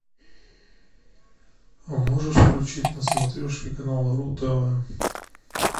можешь включить на смотрешке канал ру тв